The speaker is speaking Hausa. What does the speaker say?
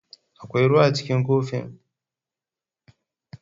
Akwai ruwa a cikin kofin?